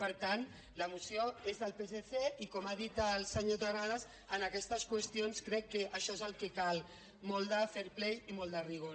per tant la moció és del psc i com ha dit el senyor terrades en aquestes qüestions crec que això és el que cal molt de fair play i molt de rigor